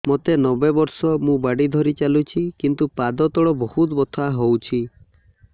ମୋତେ ନବେ ବର୍ଷ ମୁ ବାଡ଼ି ଧରି ଚାଲୁଚି କିନ୍ତୁ ପାଦ ତଳ ବହୁତ ବଥା ହଉଛି